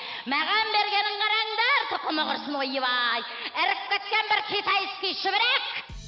маған бергенін қараңдар тұқымы құрсын ойбай іріп кеткен бір китайский шүберек